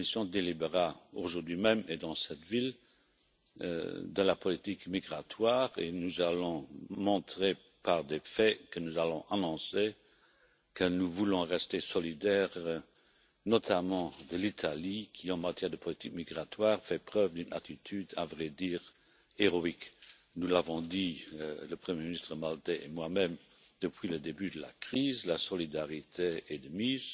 La Commission délibérera, aujourd'hui même et dans cette ville, de la politique migratoire, et nous allons montrer par des faits que nous allons annoncer que nous voulons rester solidaires, notamment de l'Italie, qui, en matière de politique migratoire, fait preuve d'une attitude à vrai dire héroïque. Nous l'avons dit, le premier ministre maltais et moi même, depuis le début de la crise, la solidarité est de mise,